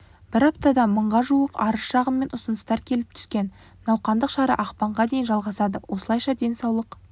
бір аптада мыңға жуық арыз-шағым мен ұсыныстар келіп түскен науқандық шара ақпанға дейін жалғасады осылайша денсаулық